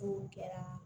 N'o kɛra